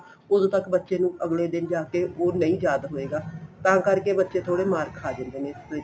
ਉਦੋਂ ਤੱਕ ਬੱਚੇ ਨੂੰ ਅੱਗਲੇ ਦਿਨ ਜਾ ਕੇ ਉਹ ਨਹੀਂ ਯਾਦ ਹੋਏਗਾ ਤਾਂ ਕਰਕੇ ਬੱਚੇ ਥੋੜੇ ਮਾਰ ਖਾ ਜਾਂਦੇ ਨੇ ਇਸ ਵਿੱਚ